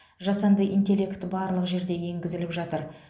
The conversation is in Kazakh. жасанды интеллект барлық жерде енгізіліп жатыр